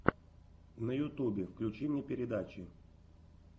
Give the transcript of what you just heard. на ютубе включи мне передачи